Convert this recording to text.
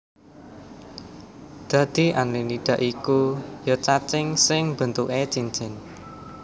Dadi Annelida ya iku cacing sing bentuké cincin